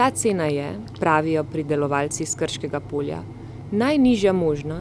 Ta cena je, pravijo pridelovalci s Krškega polja, najnižja možna,